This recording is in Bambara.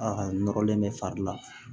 A nɔrɔlen bɛ fari la